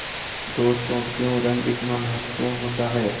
दोस्तों क्यों रंग इतना महत्वपूर्ण होता है